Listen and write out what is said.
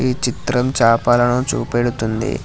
ఈ చిత్రం చేపలను చూపెడుతుంది.